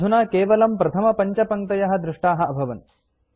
अधुना केवलं प्रथमपञ्चपङ्क्तयः दृष्टाः अभवन्